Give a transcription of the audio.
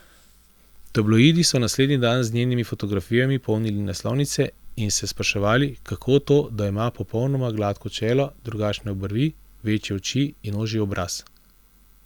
Tabloidi so naslednji dan z njenimi fotografijami polnili naslovnice in se spraševali, kako to, da ima popolnoma gladko čelo, drugačne obrvi, večje oči in ožji obraz.